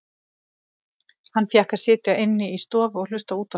Hann fékk að sitja inni í stofu og hlusta á útvarpið.